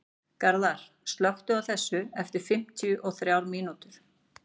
Garðar, slökktu á þessu eftir fimmtíu og þrjár mínútur.